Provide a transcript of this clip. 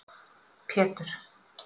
Pétur